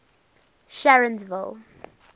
sharonsville